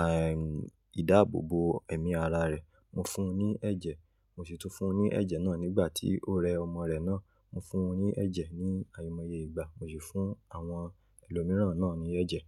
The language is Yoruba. aì, ìdáàbòbò ẹ̀mí ara rẹ̀. Mo fún un ní ẹ̀jẹ̀. Mo sì tún fún un ní ẹ̀jẹ̀ náà nígbà tí ó rẹ ọmọ rẹ̀ náà. Mo fún won ní ẹ̀jẹ̀ ní àìmoye ìgbà. Mo sì fún àwọn ẹlòmíràn náà ní ẹ̀jẹ̀.